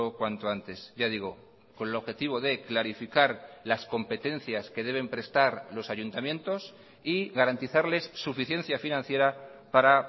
cuanto antes ya digo con el objetivo de clarificar las competencias que deben prestar los ayuntamientos y garantizarles suficiencia financiera para